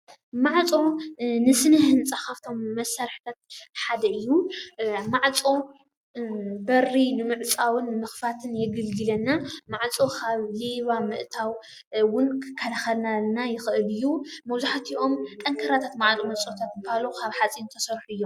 ማዕፆ ንስነ-ህንፃ ካብቶም መሳርሕታት ሓደ እዩ ። ማዕፆ በሪ ንምዕፃውን ንምክፋትን የገልግለና። ማዕፆ ካብ ሌባ ምእታው እውን ክካለከለና ይክእል እዩ። መብዛሕትኦም ጠንካራታት ማዓፆ ዝበሃሉ ካብ ሓፂን ዝተሰሩሑ እዮም።